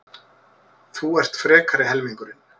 Þú ert frekari helmingurinn.